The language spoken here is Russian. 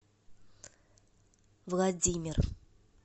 владимир